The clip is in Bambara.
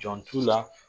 Jɔn t'u la